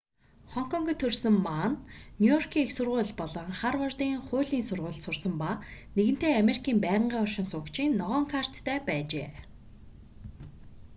хонконгт төрсөн ма нь нью-йоркийн их сургууль болон харвардын хуулийн сургуульд сурсан ба нэгэнтээ америкийн байнгын оршин суугчийн ногоон карт"-тай байжээ